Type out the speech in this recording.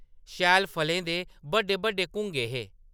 शैल फलें दे बड्डे बड्डे घुंगे हे ।